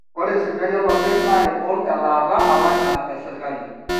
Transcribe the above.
ore sipitali olopeny naa egol elaata alang ina esirkali